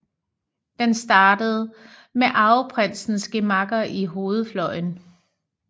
Den startede ved arveprinsens gemakker i hovedfløjen